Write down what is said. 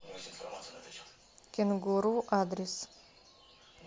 кенгуру адрес